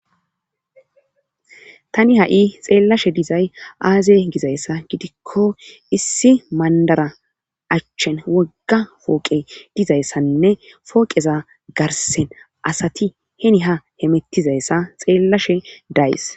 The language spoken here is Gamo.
tani ha7i xeellashe dizay aaze gizayssa gidikko issi mandara achchen wogga fooqe dizayssaninne fooqeza garsen asati heni ha hemettizayssa xeellashe days